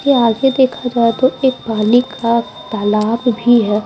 ये आगे देखा जाए तो एक पानी का तालाब भी है।